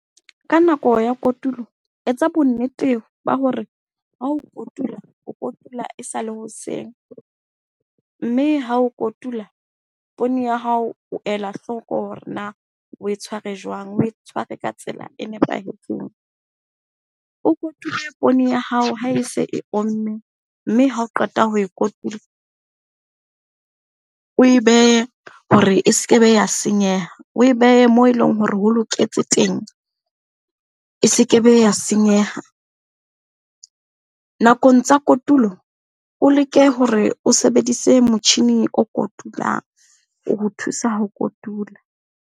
Ka nako ya kotulo, etsa bonnete ba hore ha o kotula, o kotula e sale hoseng. Mme ha o kotula poone ya hao, o ela hloko hore na o e tshware jwang? O e tshware ka tsela e nepahetseng. O kotule poone ya hao ha e se e omme mme hao qeta ho e kotula, o e behe hore e seke be ya senyeha. O e behe moo eleng hore ho loketse teng, e seke be ya senyeha. Nakong tsa kotulo, o leke hore o sebedise motjhini o kotulang, ho o thusa ho kotula.